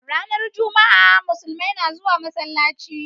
Ranar jama'a, musulmai na zuwa masallaci